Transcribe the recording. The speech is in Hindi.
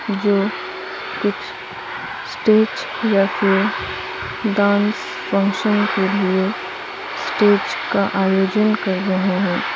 जो कुछ स्टेज या फिर डांस फंक्शन के लिए स्टेज का आयोजन कर रहे हैं।